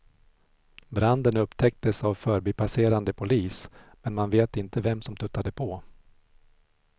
Branden upptäcktes av förbipasserande polis, men man vet inte vem som tuttade på.